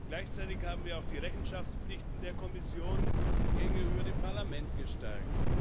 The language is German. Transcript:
Gleichzeitig haben wir auch die Rechenschaftspflichten der Kommission gegenüber dem Parlament gestärkt.